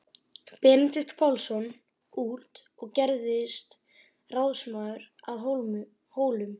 Benedikt Pálsson út og gerðist ráðsmaður að Hólum.